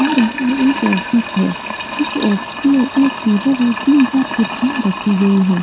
और यह एक ऑफिस है | इस ऑफिस में एक टेबल और तीन-चार कुर्सियां रखी गई हैं |